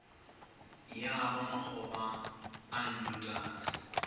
ya ba makgoba a nnotagi